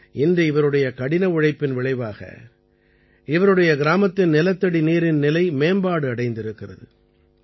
இன்று இவருடைய கடின உழைப்பின் விளைவாக இவருடைய கிராமத்தின் நிலத்தடி நீரின் நிலை மேம்பாடு அடைந்திருக்கிறது